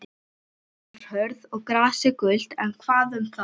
Jörðin var hörð og grasið gult, en hvað um það.